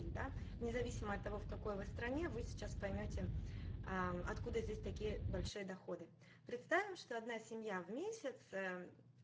и да независимо от того в какой вы стране вы сейчас поймёте откуда здесь такие большие доходы представим что одна семья в месяц